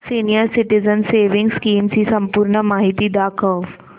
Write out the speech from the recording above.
senior citizens savings scheme ची संपूर्ण माहिती दाखव